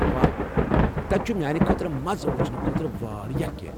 واہ، تتہِ چھُ میانہِ خٲطرٕ مزٕ وچھنہٕ خٲطرٕ واریاہ کینٛہہ۔